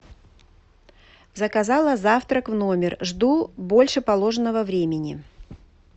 заказала завтрак в номер жду больше положенного времени